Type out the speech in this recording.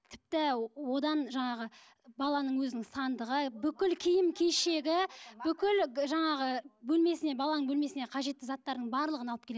тіпті одан жаңағы баланың өзінің сандығы бүкіл киім кешегі бүкіл жаңағы бөлмесіне баланың бөлмесіне қажетті заттардың барлығын алып келеді